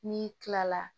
N'i kilala